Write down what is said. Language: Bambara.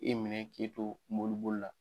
E minɛ k'e to mobili bolila